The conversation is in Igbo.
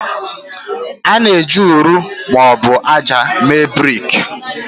A na-eji ụrọ ma ọ bụ ájá mee brik.